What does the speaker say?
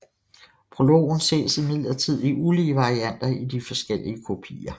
Prologen ses imidlertid i ulige varianter i de forskellige kopier